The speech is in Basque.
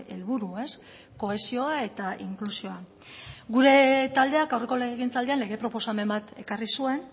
helburu kohesioa eta inklusioa gure taldeak aurreko legegintzaldian lege proposamen bat ekarri zuen